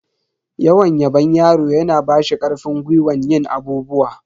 Yawan yabon yaro yana bashi karfin gwiwan yin abubuwa.